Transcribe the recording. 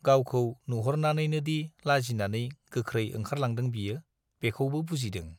गावखौ नुहुरनानैनोदि लाजिनानै गोख्रै ओंखारलांदों बियो - बेखौबो बुजिदों।